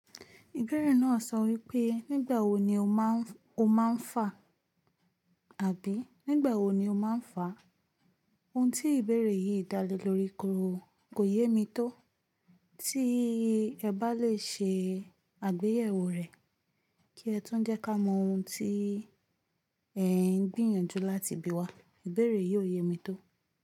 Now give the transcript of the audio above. Ìbéèrè náà sọ wípé, "Nígbà wo ni o máa ń fà àbí nígbà wo ni o máa ń fà?" Ohun tí ìbéèrè yìí dá lé lórí koro kò yé mi tó. Tí ẹ bá lè ṣe àgbéyẹ̀wò rẹ kí ẹ tún jẹ́ ká mọ ohun tí ẹ ń gbìyànjú láti bí wa, ìbéèrè yìí ó yé mi tó.